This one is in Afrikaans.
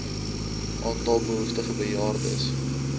aantal behoeftige bejaardes